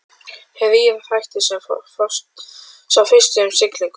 Þrír þættir, sá fyrsti um siglinguna.